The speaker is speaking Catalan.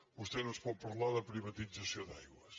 vostè no ens pot parlar de privatització d’aigües